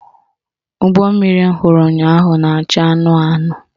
Ụgbọmmiri m hụrụ ụnyaahụ na-acha anụnụ anụnụ